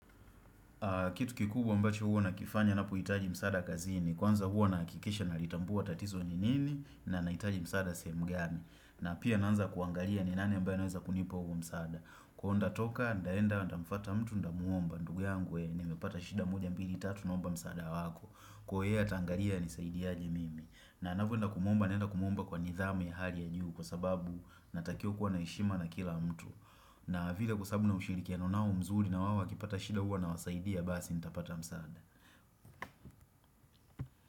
Kitu kikubwa mbacho huo na kifanya na puitaji msada kazini, kwanza huo na kikisha na litambua tatizo nini na naitaji msada semgani. Na pia naanza kuangalia ni nane mbae naanza kunipo huo msada. Kuhonda toka, ndaenda, nda mfata mtu nda muomba, ndugu yangwe, nimepata shida mbili, tatu, nomba msada wako. Kuhaya, tangalia ni saidi yaje mimi. Na anafuenda kumomba, naenda kumomba kwa nidhame ya hali ya juhu kwa sababu natakio kuwa naishima na kila mtu. Na vile kwasabu na ushiriki nao mzuri nawao wakipata shida huwa nawasaidia basi nitapata msaada.